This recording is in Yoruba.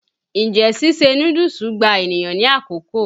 Njẹ́ síse núdúùsù gba ènìyàn ní àkókò?